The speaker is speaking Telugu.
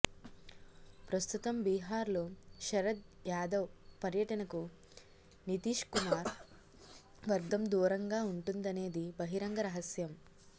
ప్రస్తుతం బీహార్లో శరద్ యాదవ్ పర్యటనకు నితీష్కుమార్ వర్గం దూరంగా ఉంటుందనేది బహిరంగ రహస్యం